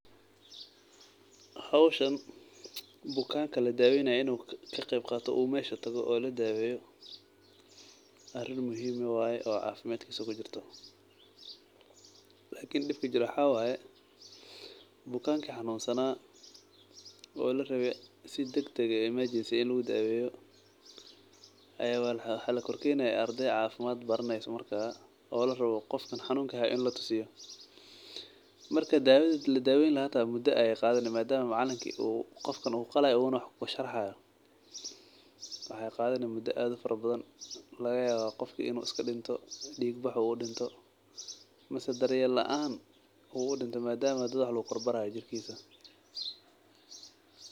Hoshan bukanka ladaweynayo in u ka qeb qato u mesha tago oo ladaweyo arin muhiim waye oo cafimaadkisa kujirto, lakin dibka jiro waxaa waye bukanki xanun sana oo larawe si dag dag eh imagensi in lagu daweyo aya waxa lakor kenaya ardey cafimaad baraneyso oo larawo qofkan xanunki hayo in latusiyo marka dawadha ladaweyni laha hata muda ayey qadhani marka madama macalinki qofkan u qalaya una wax kusharxaya maxee qadhani muda aad ufara badan laga yawa qofka in u iska dinto dig bax u udinto mase daryel laan u udinto madama dad wax lagu kor barayo jirkisa.